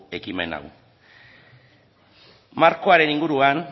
ekimen hau markoaren inguruan